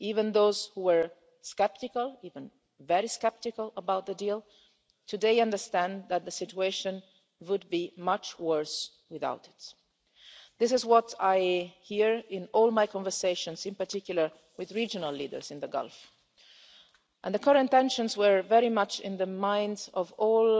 Even those who were sceptical even very sceptical about the deal, today understand that the situation would be much worse without it. This is what I hear in all my conversations in particular with regional leaders in the Gulf, and the current tensions were very much in the minds of all